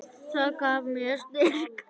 Það gaf mér styrk.